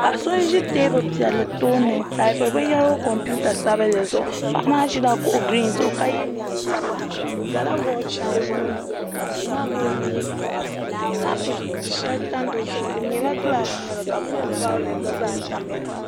Paɣa so n ʒi teebuli piɛlli tooni n taapiri binyɛra o kompiuta sabinli zuɣu paɣa maa ʒila kuɣu giriin zuɣu ka yɛ neen sabila o gala wooch o nuuni ka Duu maa gooni nyɛ gilaas kaap shɛli tam di zuɣu di nyɛla gilaas ka kopu vaaulɛt gba zaa tamya